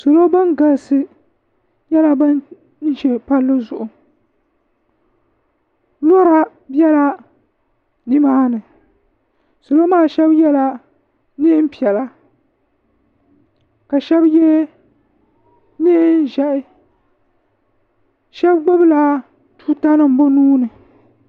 salo ban galisi nyɛla ban ʒɛ palizuɣ' lora bɛla ni maa ni salo maa shɛbi yɛla nɛnpiɛlla ka shɛbi yɛ nɛɛʒihi shɛbi gbabila tutanim bɛ nuuni